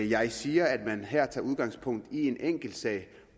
jeg siger at man her tager udgangspunkt i en enkeltsag